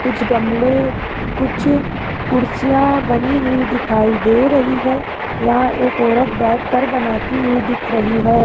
कुछ गमले कुछ कुर्सियां बनी हुई दिखाई दे रही है यहां एक औरत बैठकर बनाती हुई दिख रही है।